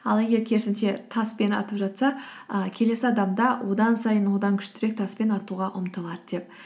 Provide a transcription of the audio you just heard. ал егер керісінше таспен атып жатса і келесі адам да одан сайын одан күштірек таспен атуға ұмтылады деп